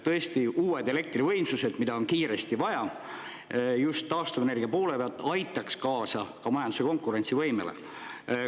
Tõesti, uued elektrivõimsused, mida on kiiresti vaja just taastuvenergia poole pealt, aitaksid kaasa ka majanduse konkurentsivõimele.